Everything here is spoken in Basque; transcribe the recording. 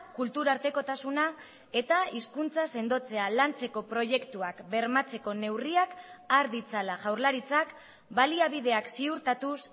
kulturartekotasuna eta hizkuntza sendotzea lantzeko proiektuak bermatzeko neurriak har ditzala jaurlaritzak baliabideak ziurtatuz